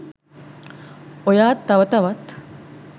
ඔයා තව තවත්